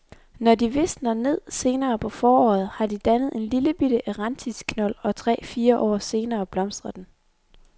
Når de visner ned senere på foråret, har de dannet en lillebitte erantisknold, og tre fire år senere blomstrer den.